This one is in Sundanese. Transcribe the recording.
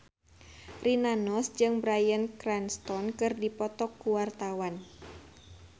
Rina Nose jeung Bryan Cranston keur dipoto ku wartawan